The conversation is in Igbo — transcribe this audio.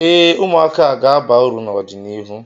Ee, ụmụaka a ga-aba uru n'ọdịnịhu